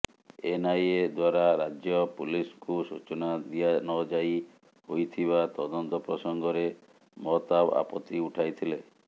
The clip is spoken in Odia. ଏନ୍ଆଇଏ ଦ୍ବାରା ରାଜ୍ୟ ପୁଲିସ୍କୁ ସୂଚନା ଦିଆନଯାଇ ହୋଇଥିବା ତଦନ୍ତ ପ୍ରସଙ୍ଗରେ ମହତାବ ଆପତ୍ତି ଉଠାଇଥିଲେ